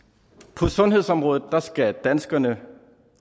på sundhedsområdet skal danskerne